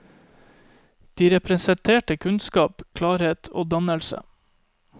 De representerte kunnskap, klarhet og dannelse.